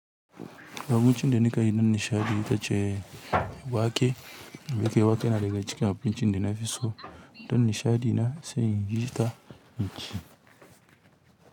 Abincin da na yi don nishaɗi ita ce wake. Wake wake naga cikin abincin da na fi so don nishaɗi na sai in yi ta inci.